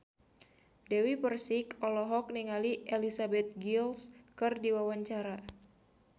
Dewi Persik olohok ningali Elizabeth Gillies keur diwawancara